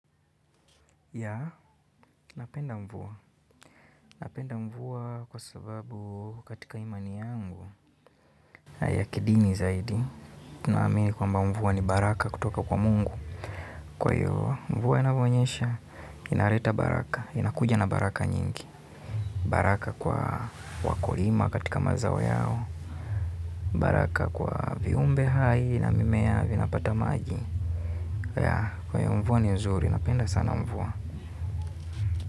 Ya, napenda mvua. Napenda mvua kwa sababu katika imani yangu. Yakidini zaidi. Tunaamini kwamba mvua ni baraka kutoka kwa mungu. Kwa hio mvua inavyonyesha, inaleta baraka. Inakuja na baraka nyingi. Baraka kwa wakulima katika mazao yao. Baraka kwa viumbe hai na mimea vinapata maji. Ya, kwa hivo mvua ni nzuri. Napenda sana mvua.